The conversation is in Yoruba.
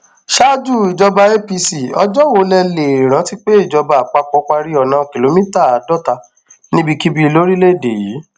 ṣáájú ìjọba apc ọjọ wo lẹ lè rántí pé ìjọba àpapọ parí ọnà kìlómítà àádọta níbikíbi lórílẹèdè yìí